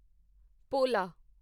ਪੋਲਾ